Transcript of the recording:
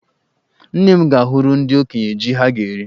Nne m ga-ahụrụ ndị okenye jí ha ga-eri.